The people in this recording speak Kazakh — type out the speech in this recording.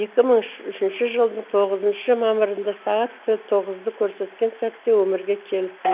екі мың үшінші жылдың тоғызыншы мамырында сағат тоғызды көрсеткен сәтте өмірге келіппін